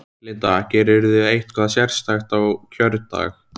Linda: Gerirðu eitthvað sérstakt á kjördag?